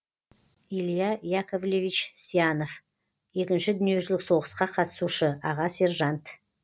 илья яковлевич сьянов екінші дүниежүзілік соғысқа қатысушы аға сержант